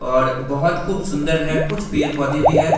और बहुत खूब सुन्दर है कुछ पेड़-पौधे भी हैं ।